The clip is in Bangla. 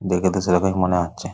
দেখে তো সেরকমই মনে হচ্ছে ।